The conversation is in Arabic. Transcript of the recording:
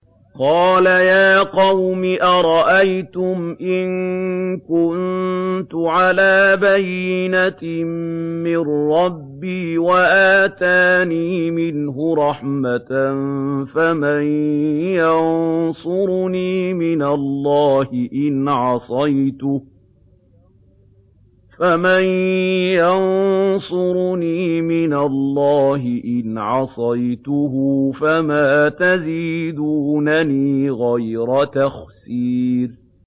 قَالَ يَا قَوْمِ أَرَأَيْتُمْ إِن كُنتُ عَلَىٰ بَيِّنَةٍ مِّن رَّبِّي وَآتَانِي مِنْهُ رَحْمَةً فَمَن يَنصُرُنِي مِنَ اللَّهِ إِنْ عَصَيْتُهُ ۖ فَمَا تَزِيدُونَنِي غَيْرَ تَخْسِيرٍ